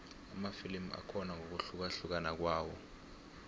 amafilimu akhona ngokuhlukahlukana kwawo